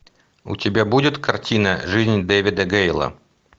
у тебя будет картина жизнь дэвида гейла